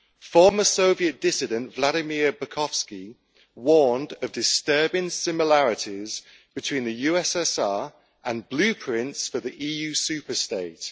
Former Soviet dissident, Vladimir Bukovsky, warned of disturbing similarities between the USSR and blueprints for the EU superstate.